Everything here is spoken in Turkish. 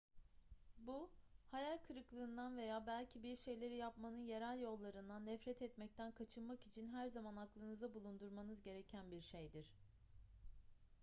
bu hayal kırıklığından veya belki bir şeyleri yapmanın yerel yollarından nefret etmekten kaçınmak için her zaman aklınızda bulundurmanız gereken bir şeydir